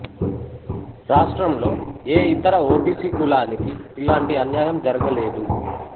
రాష్ట్రంలో ఏ ఇతర ఓబీసీ కులానికి ఇలాంటి అన్యాయం జరగలేదు